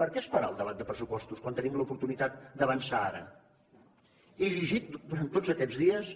per què esperar el debat de pressupostos quan tenim l’oportunitat d’avançar ara he llegit durant tots aquests dies